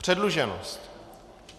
Předluženost.